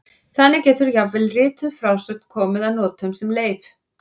Þannig getur jafnvel rituð frásögn komið að notum sem leif.